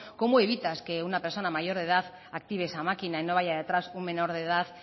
cómo evitas que una persona mayor de edad active esa máquina y no vaya detrás un menor de edad